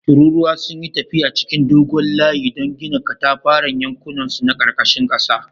Tururuwa sun yi tafiya cikin dogon layi don gina katafaren yankunansu na karkashin ƙasa